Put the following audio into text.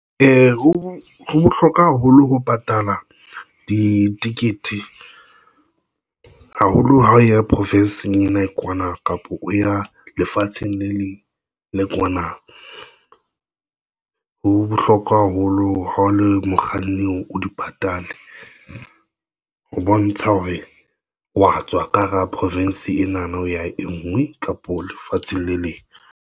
Ho bohlokwa haholo ho patala di t-icket haholo ha o ya profensing ena kwana kapa o ya lefatsheng le leng le le kwana. Ho bohlokwa haholo ha o le mokganni, o di patale ho bontsha hore wa tswa ka hara province ena na o ya engwe kapo lefatsheng le leng.